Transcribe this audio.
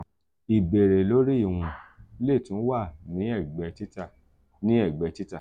ibere lori iwọn le tun wa ni ẹgbẹ tita ni ẹgbẹ tita.